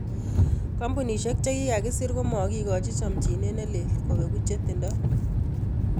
Kambunisiek chikikakesir komakikochin chomchinet ne lel kopengu chetindo.